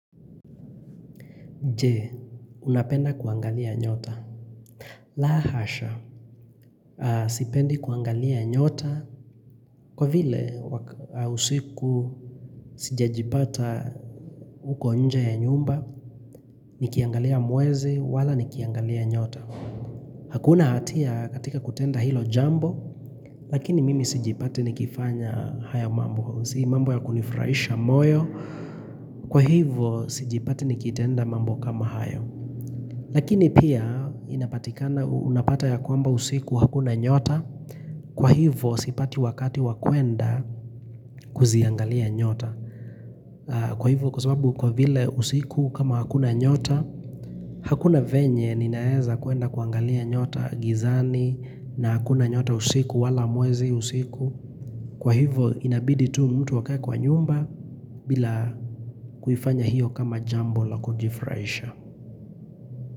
Je, unapenda kuangalia nyota. La hasha, sipendi kuangalia nyota kwa vile usiku sijajipata huko nje ya nyumba. Nikiangalia mwezi, wala nikiangalia nyota. Hakuna hatia katika kutenda hilo jambo, lakini mimi sijipati nikifanya haya mambo. Si mambo ya kunifraisha moyo, kwa hivyo sijipati nikitenda mambo kama hayo. Lakini pia inapatikana unapata ya kwamba usiku hakuna nyota, kwa hivo sipati wakati wa kwenda kuziangalia nyota. Kwa hivo kwa sababu kwa vile usiku kama hakuna nyota, hakuna venye ninaeza kuenda kuangalia nyota gizani na hakuna nyota usiku wala mwezi usiku. Kwa hivo inabidi tu mtu akae kwa nyumba bila kuifanya hiyo kama jambo la kujifraisha.